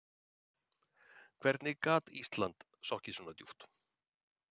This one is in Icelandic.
Hvernig gat Ísland sokkið svo djúpt?